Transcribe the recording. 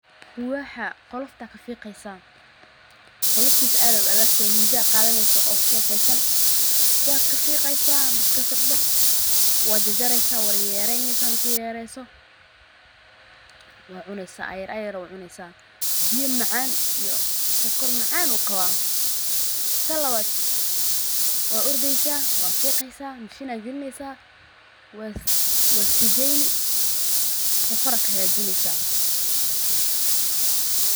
Quwaxa qolofta kafiqeysa qoloftisa ad ay u adagte midi ad qadaneyso o sofeysan wad kafiqeysa, marki fiqdo waa jajareysa wad yar yareyneso marki yar yareyneso wacuneysa ayar ayar ad u cuneysa biya mcan iyo sokor macan u qaba, tan labad waa ordeysa wad fiqeysa mashin ad galineysa waa sigeyni socor aa kahagajineysa.